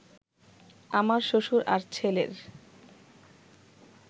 আমার শ্বশুর আর ছেলের